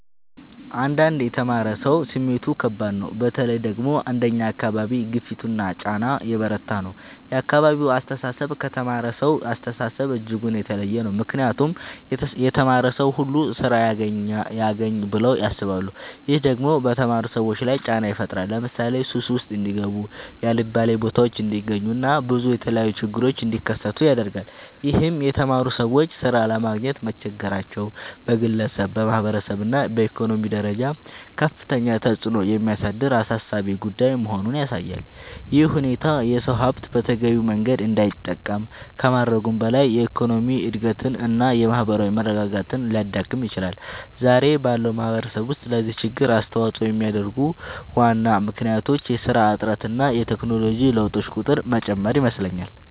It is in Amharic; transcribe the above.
አንዳንድ የተማረ ሰው ስሜቱ ከባድ ነው በተለይ ደግሞ አንደኛ አካባቢ ግፊቱና ጫና የበረታ ነው የአካባቢው አስተሳሰብ ከተማረሳው አስተሳሰብ እጅጉን የተለየ ነው ምክንያቱም የተማረ ሰው ሁሉ ስራ ያግኝ ብለው ያስባሉ። ይህም ደግሞ በተማሩ ሰዎች ላይ ጫና ይፈጥራል ለምሳሌ ሱስ ውስጥ እንዲጋቡ የአልባሌ ቦታዎች እንዲገኙ እና ብዙ የተለያዩ ችግሮች እንዲከሰቱ ያደርጋል ይህም የተማሩ ሰዎች ሥራ ለማግኘት መቸገራቸው በግለሰብ፣ በማህበረሰብ እና በኢኮኖሚ ደረጃ ከፍተኛ ተጽዕኖ የሚያሳድር አሳሳቢ ጉዳይ መሆኑን ያሳያል። ይህ ሁኔታ የሰው ሀብት በተገቢው መንገድ እንዳይጠቀም ከማድረጉም በላይ የኢኮኖሚ እድገትን እና የማህበራዊ መረጋጋትን ሊያዳክም ይችላል። ዛሬ ባለው ማህበረሰብ ውስጥ ለዚህ ችግር አስተዋጽኦ የሚያደርጉ ዋና ምክንያቶች የስራ እጥረት እና የቴክኖሎጂ ለውጦች ቁጥር መጨመር ይመስለኛል